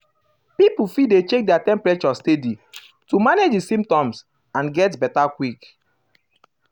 um pipo fit dey check their temperature steady to manage di symptoms and get beta quick